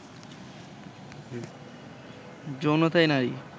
যৌনতায় নারী